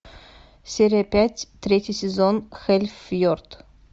серия пять третий сезон хелльфьорд